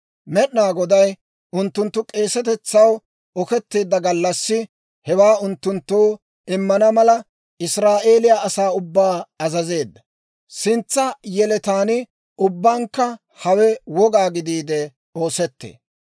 Med'inaa Goday unttunttu k'eesetetsaw oketteedda gallassi, hewaa unttunttoo immana mala, Israa'eeliyaa asaa ubbaa azazeedda; sintsa yeletaan ubbankka hawe woga gidiide oosettee.